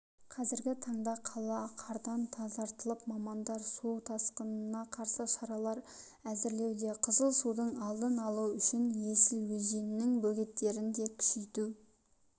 қазіргі таңда қала қардан тазартылып мамандар су тасқынына қарсы шаралар әзірлеуде қызыл судың алдын алу үшін есіл өзенінің бөгеттерін де күшейту